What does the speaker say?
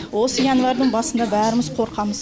осы январьдың басында бәріміз қорқамыз